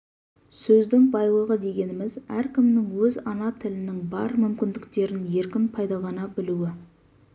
сөздің байлығы дегеніміз әркімнің өз ана тілінің бар мүмкіндіктерін еркін пайдалана білуі